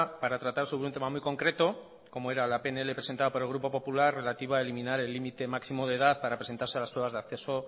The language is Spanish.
para tratar sobre un tema muy concreto como era la pnl presentada por el grupo popular relativa a eliminar el límite máximo de edad para presentarse a las pruebas de acceso